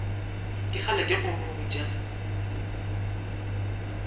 ke kgale ke go botša